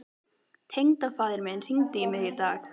Tengdafaðir minn hringdi í mig í dag.